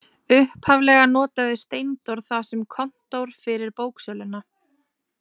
Upphaflega notaði Steindór það sem kontór fyrir bóksöluna.